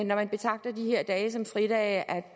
når man betragter de her dage som fridage